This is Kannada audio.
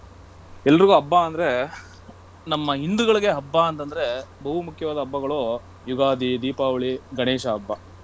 ಏಲ್ರಿಗೂ ಹಬ್ಬ ಅಂದ್ರೆ ನಮ್ಮ ಹಿಂದುಗಳಿಗೆ ಹಬ್ಬ ಅಂತಂದ್ರೆ ಬಹು ಮುಖ್ಯವಾದ ಹಬ್ಬಗಳು ಯುಗಾದಿ, ದೀಪಾವಳಿ, ಗಣೇಶ ಹಬ್ಬ.